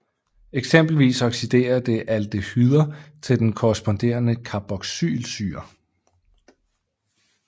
Eksempelvis oxiderer det aldehyder til den korresponderende carboxylsyre